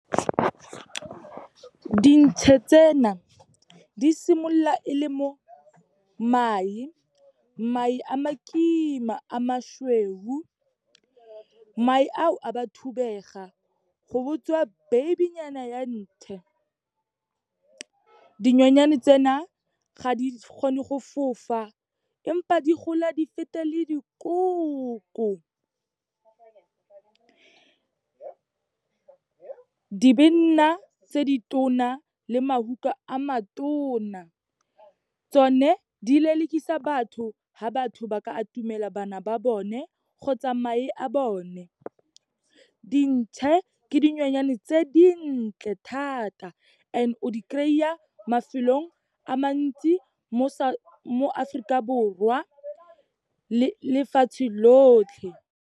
Dintšhe tsena, di simolola e le mae, mae a makima, a mašweu. Mae ao, a ba thubega, go botswa baby-nyana ya ntšhe. Dinyonyane tsena ga di kgone go fofa, empa di gola di fete le dikoko. Di be di nna tse di tona, le mahuka a matona. Tsone, di lelekisa batho ha batho ba ka atumela bana ba bone kgotsa mae a bone. Dintšhe ke dinonyane tse dintle thata and o di kry-a mafelong a mantsi mo Aforika Borwa le lefatshe lotlhe.